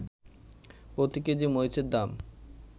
প্রতি কেজি মরিচের দাম